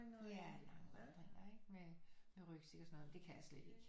Ja lange vandringer ikke med med rygsæk og sådan noget men det kan jeg slet ikke